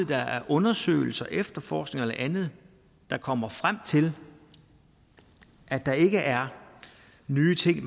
der er undersøgelser efterforskning eller andet der kommer frem til at der ikke er nye ting